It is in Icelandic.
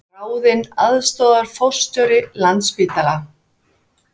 Ráðinn aðstoðarforstjóri Landspítala